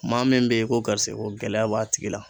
Maa min be ye ko garisigɛ ko gɛlɛya b'a tigi la